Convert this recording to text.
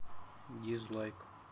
дизлайк